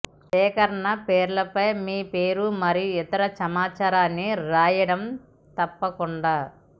సేకరణ పేర్లపై మీ పేరు మరియు ఇతర సమాచారాన్ని రాయడం తప్పకుండా